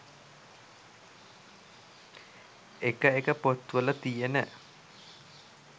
එක එක පොත් වල තියෙන